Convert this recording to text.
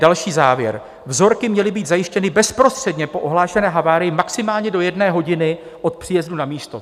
Další závěr: "Vzorky měly být zajištěny bezprostředně po ohlášené havárii maximálně do jedné hodiny od příjezdu na místo."